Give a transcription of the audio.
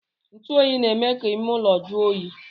Ntuoyi na-eme ka ime ụlọ jụọ oyi